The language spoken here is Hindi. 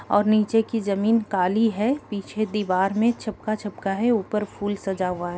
और निचे की जमीन काली है पीछे दिवाल में छपका - छपका है ऊपर फुल सजा हुआ है ।